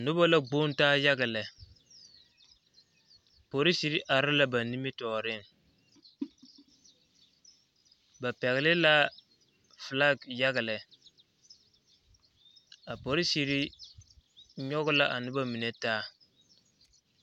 Noba la gboŋ taa yaga lɛ polisiri are la ba nimitɔɔreŋ ba pɛgle la filaki yaga lɛ a polisiri nyɔge la a noba mine taa.